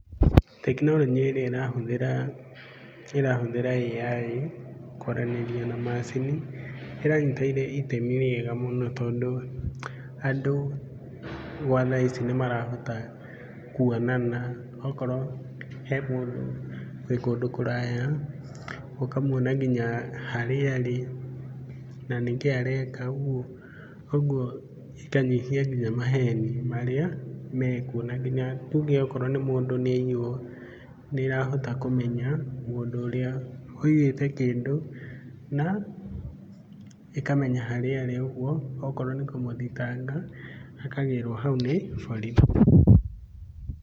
Tekinoronjĩ ĩrĩa ĩrahũthĩra AI kwaranĩria na macini ĩranyita itemi rĩega mũno tondũ andũ gwa thaa ici nĩ marahota kuonana. Okorwo he mũndũ wĩ kũndũ kũraya ũkamuona nginya harĩa arĩ na nĩkĩĩ areka ũguo cikanyihia nginya maheni marĩa mekuo. Na nginya tuge okorwo mũndũ nĩ aiywo nĩ ĩrahoa kũmenya mũndũ ũrĩa wiyĩte kĩndũ na ĩkamenya harĩa arĩ. Ũguo okorwo nĩ kũmũthitanga akagĩrwo hau nĩ borithi.